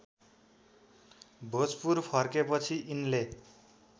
भोजपुर फर्केपछि यिनले